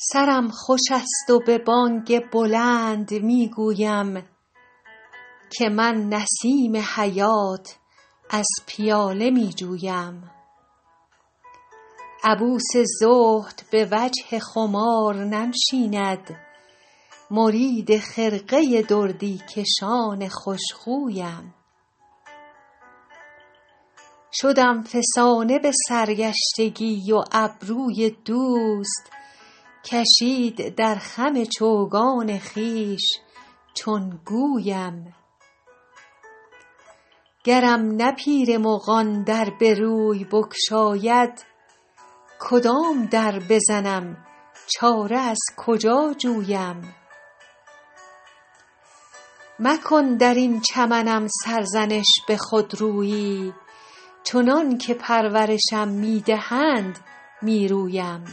سرم خوش است و به بانگ بلند می گویم که من نسیم حیات از پیاله می جویم عبوس زهد به وجه خمار ننشیند مرید خرقه دردی کشان خوش خویم شدم فسانه به سرگشتگی و ابروی دوست کشید در خم چوگان خویش چون گویم گرم نه پیر مغان در به روی بگشاید کدام در بزنم چاره از کجا جویم مکن در این چمنم سرزنش به خودرویی چنان که پرورشم می دهند می رویم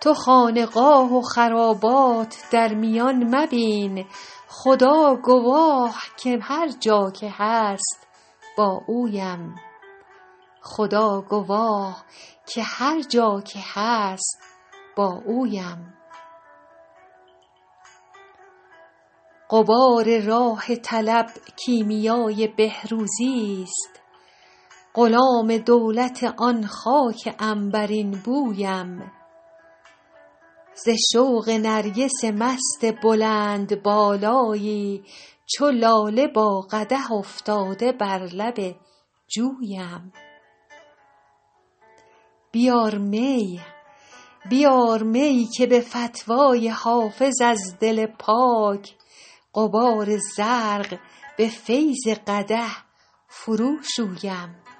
تو خانقاه و خرابات در میانه مبین خدا گواه که هر جا که هست با اویم غبار راه طلب کیمیای بهروزیست غلام دولت آن خاک عنبرین بویم ز شوق نرگس مست بلندبالایی چو لاله با قدح افتاده بر لب جویم بیار می که به فتوی حافظ از دل پاک غبار زرق به فیض قدح فروشویم